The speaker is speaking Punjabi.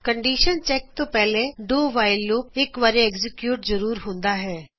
ਕੰਡੀਸ਼ਮ ਚੈੱਕ ਤੋ ਪਹਿਲੇ ਡੂ ਵਾਇਲ ਲੂਪ ਘੱਟੋ ਘੱਟ ਇਕ ਵਾਰ ਐਗਜ਼ਕਯੂਟ ਜ਼ਰੂਰ ਹੂੰਦਾ ਹੈ